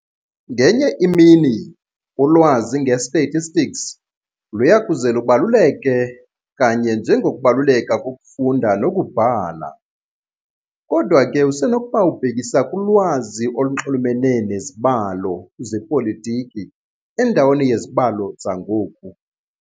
Ngenye imini, ulwazi nge-statistics luyakuze lubaluleke kanye njengokubaluleka kokufunda nokubhala. Kodwa ke usenokuba ubhekisa kulwazi olunxulumene nezibalo zepolitiki endaweni yezibalo zangoku.